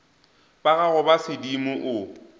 ba gago ba sedimo o